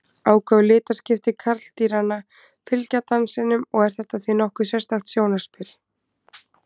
Áköf litaskipti karldýranna fylgja dansinum og er þetta því nokkuð sérstakt sjónarspil.